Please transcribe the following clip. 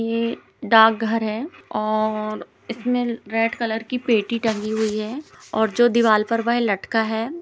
ये डाक घर है और इसमे रेड कलर की पेटी टंगी हुई है और जो दीवाल पर जो वह लटका है।